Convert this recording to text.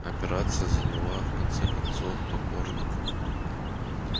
операция заняла в конце концов покорно